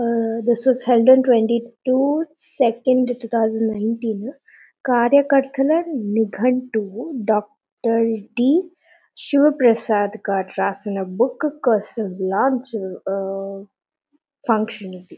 ఆ థిస్ వ్యాస held on twenty two second two thousand nineteen కార్యకర్తల నిగట్టువు డాక్టర్ డి శివప్రసాద్ గారు వ్రాసిన బుక్ కోసం లాంచ్ ఆ ఫంక్షన్ ఇది.